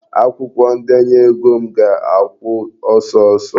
Akwụkwọ ndenye ego m ga-agwụ ọsọ ọsọ.